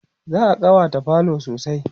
za'a ƙawata falo sosai